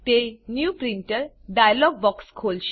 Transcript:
તે new printer dialog box ખોલશે